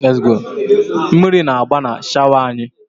Mmiri na-agba na shọwa anyị.